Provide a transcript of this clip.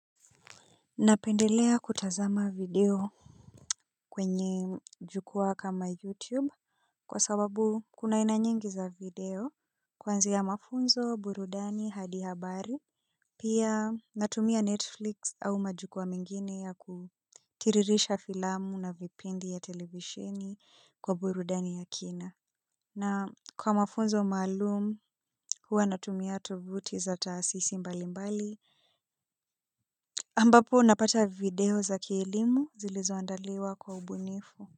Napendelea kutazama video. Kwenye jukwaa kama youtube kwa sababu kuna aina nyingi za video kuanzia mafunzo burudani hadi habari. Pia natumia netflix au majukwaa mengine ya kutiririsha filamu na vipindi ya televisheni kwa burudani ya kina. Na kwa mafunzo maalumu huwa natumia tovuti za taasisi mbali mbali ambapo napata video za kielimu zilizoandaliwa kwa ubunifu.